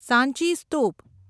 સાંચી સ્તૂપ